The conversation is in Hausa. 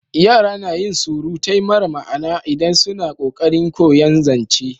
Yara na yin surutai mara ma'ana idan suna ƙoƙarin koyan zance